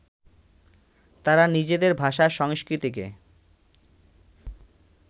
তারা নিজেদের ভাষা, সংস্কৃতিকে